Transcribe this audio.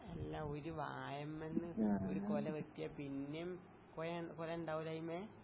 അല്ല ഒരു വാഴമ്മേന്ന് ഒരു കൊല വെട്ടിയാപ്പിന്നേം കൊയ കൊലയിണ്ടാവൂല അയിമ്മേ?